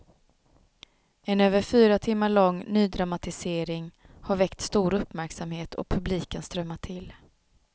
En över fyra timmar lång nydramatisering har väckt stor uppmärksamhet och publiken strömmar till.